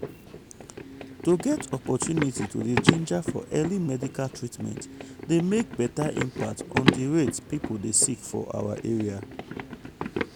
to get opportunity to dey ginger for early medical treatment dey make beta impact on di rate people dey sick for our area.